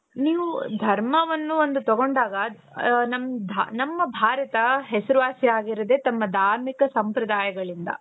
ನೀವು ಧರ್ಮವನ್ನು ಒಂದು ತಗೊಂಡಾಗ ಅ ನಮ್ ದ ನಮ್ಮ ಭಾರತ ಹೆಸರುವಾಸಿಯಾಗಿರೋದೇ ತನ್ನ ಧಾರ್ಮಿಕ ಸಂಪ್ರದಾಯಗಳಿಂದ.